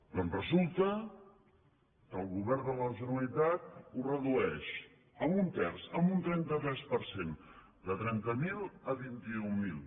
doncs resulta que el govern de la generalitat ho redueix en un terç en un trenta tres per cent de trenta mil a vint i un mil